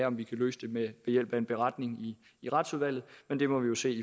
om vi kan løse det ved hjælp af en beretning i i retsudvalget men det må vi jo se